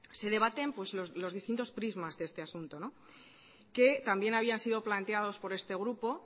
se debaten los distintos prismas de este asunto que también habían sido planteados por este grupo